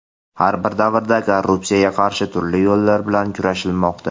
Har bir davrda korrupsiyaga qarshi turli yo‘llar bilan kurashilmoqda.